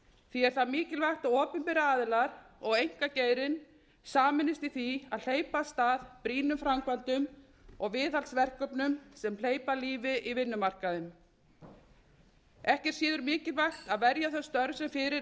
því er það mikilvægt að opinberir aðilar og einkageirinn sameinist í því að hleypa af stað brýnum framkvæmdum og viðhaldsverkefnum sem hleypa lífi í vinnumarkaðinn ekki er síður mikilvægt að verja þau störf sem fyrir